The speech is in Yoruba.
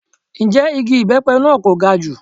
Ǹjẹ́ igi ibepe náà kò ga jù?